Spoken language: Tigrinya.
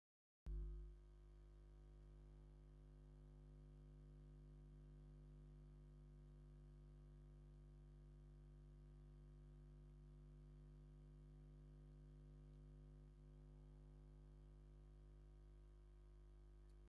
ፃዕዳ ሕብሪ ዘለዎ ዝደረቀ ሳዕሪ አብ ፀሊም ሓመድ ተዘርጊሑ ብቆፃልን ፃዕዳን ሕብሪ ዘለዎ መጠሺ ዕጣን ተቀሚጡ ይርከብ፡፡ ዝተፈላለዩ ናይ ለስላሳ መክደን እውን አብቲ ሓመድ ተደብርዮም ይርከቡ፡፡